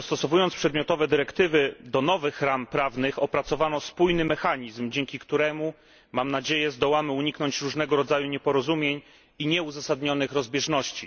Dostosowując przedmiotowe dyrektywy do nowych ram prawnych opracowano spójny mechanizm, dzięki któremu, mam nadzieję, zdołamy uniknąć różnego rodzaju nieporozumień i nieuzasadnionych rozbieżności.